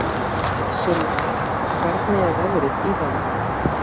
Silfa, hvernig er veðrið í dag?